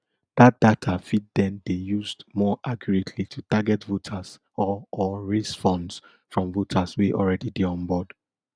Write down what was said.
dat data fit den dey used more accurately to target voters or or raise funds from supporters wey already dey onboard